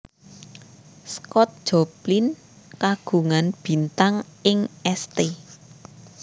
Scott Joplin kagungan bintang ing St